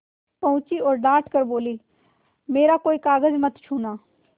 पहुँची और डॉँट कर बोलीमेरा कोई कागज मत छूना